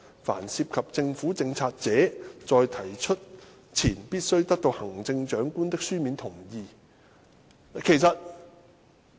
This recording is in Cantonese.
凡涉及政府政策者，在提出前必須得到行政長官的書面同意。